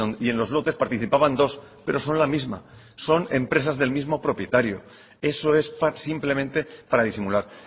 y en los lotes participaban dos pero son la misma son empresas del mismo propietario eso es simplemente para disimular